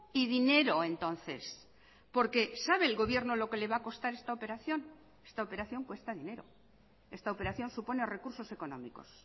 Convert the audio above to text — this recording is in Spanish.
y dinero entonces porque sabe el gobierno lo que le va a costar esta operación esta operación cuesta dinero esta operación supone recursos económicos